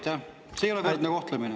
See ei ole võrdne kohtlemine.